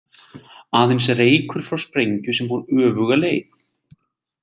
Aðeins reykur frá sprengju sem fór öfuga leið.